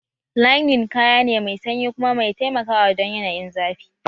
Linen kaya ne mai sanyi kuma mai taimakawa don yanayin zafi